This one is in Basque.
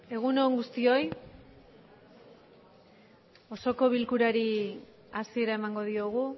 egun on guztioi osoko bilkurari hasiera emango diogu